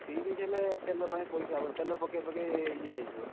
ତିରିଶ ହେଲେ ତେଲ ପାଇଁ ପଇସା ହବନି ତେଲ ପକେଇ ପକେଇ ଇଏ ହେଇଯିବ।